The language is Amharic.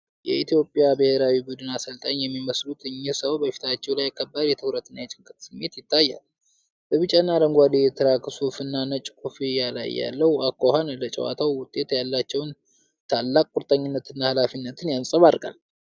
የኢትዮጵያን ብሔራዊ ቡድን አሰልጣኝ የሚመስሉት እኚህ ሰው በፊታቸው ላይ ከባድ የትኩረትና የጭንቀት ስሜት ይታያል. በቢጫና አረንጓዴ የትራክ ሱፍ እና ነጭ ኮፍያ ላይ ያለው አኳኋን ለጨዋታው ውጤት ያላቸውን ታላቅ ቁርጠኝነትና ኃላፊነት ያንጸባርቃል።